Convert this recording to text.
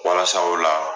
Walasa o la